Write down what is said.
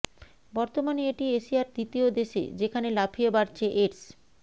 বর্তমানে এটি এসিয়ার দ্বিতীয় দেশে যেখান লাফিয়ে বাড়ছে এইডস